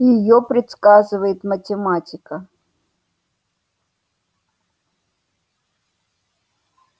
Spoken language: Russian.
её предсказывает математика